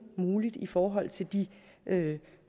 muligt i forhold til de